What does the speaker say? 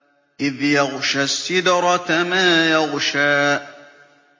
إِذْ يَغْشَى السِّدْرَةَ مَا يَغْشَىٰ